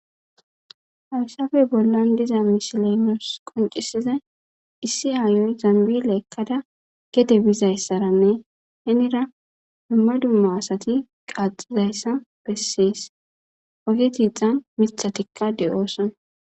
Hayssape bollan diza misiley nusi qoncisidayi issi aayiya zambile ekada gede bizayisanne henira duma duma asati qaxizayisa besesi, mithatika deyosona.